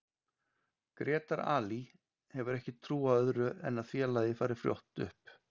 Grétar Ali hefur ekki trú á öðru en að félagið fari fljótt upp.